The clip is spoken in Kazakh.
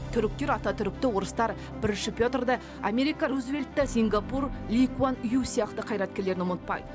түріктер ататүрікті орыстар бірінші петрді америка рузвельтті сингапур ли куан ю сияқты қайраткерлерін ұмытпайды